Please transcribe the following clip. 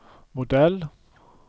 modell